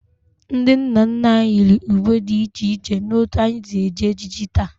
Ndị nna nna anyị yiri uwe dị iche n'otú anyị si eji ejiji taa